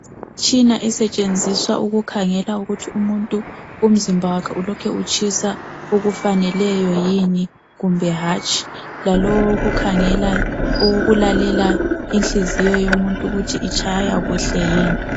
Imitshina esetshenziswa ukukhangela ukuthi umuntu umzimba wakhe ulokhe utshisa okufaneleyo yini kumbe hatshi, lalowo owokukhangela owokulalela ukuthi inhliziyo yomuntu ukuthi itshaya kuhle yini.